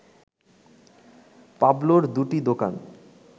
পাবলোর দুটি দোকান